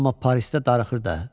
Amma Parisdə darıxır da.